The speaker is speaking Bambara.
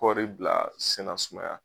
Kɔri bila senasumaya.